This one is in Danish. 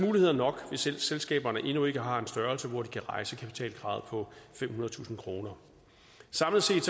muligheder nok hvis selskaberne endnu ikke har en størrelse hvor de kan rejse kapitalkravet på femhundredetusind kroner samlet set